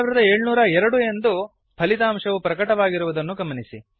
9702 ಎಂದು ಫಲಿತಾಂಶವು ಪ್ರಕಟವಾಗಿರುವುದನ್ನು ಗಮನಿಸಿ